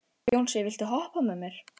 Jónsi, viltu hoppa með mér?